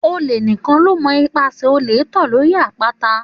Òlé ni kàn lò mó ìpá sẹ òlé tọ lọri àpàtà